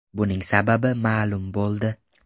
Buning sababi ma’lum bo‘ldi.